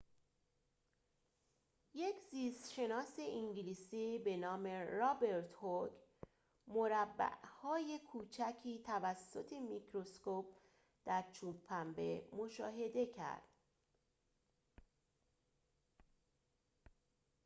یک زیست شناس انگلیسی به نام رابرت هوک مربع‌های کوچکی توسط میکروسکوپ در چوب پنبه مشاهده کرد